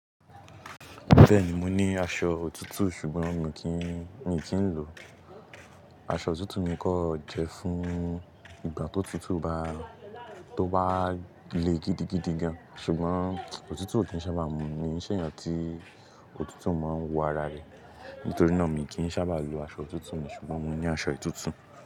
Bẹ́ẹ̀ni mo ní aṣọ òtútù sùgbọ́n mi kìí, mi kì í lò ọ́. Aṣọ òtútù mi kọ̀ jẹ́ fún ìgbà tó tùtù bá, tó bá le gidigidi gan. Ṣùgbọ́n òtútù ò kí ń sábà mú mi mi ṣẹ̀yàn tí òtútù máa ń wọ ara rẹ̀. Nítorí náà mi kì í sábà lo aṣọ òtútù mi ṣùgbọ́n mo ní aṣọ ìtútù.